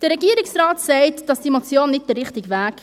Der Regierungsrat sagt, diese Motion sei nicht der richtige Weg.